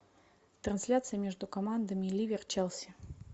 трансляция между командами ливер челси